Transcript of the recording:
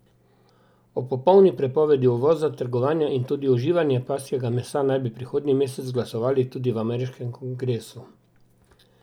O popolni prepovedi uvoza, trgovanja in tudi uživanja pasjega mesa naj bi prihodnji mesec glasovali tudi v ameriškem kongresu.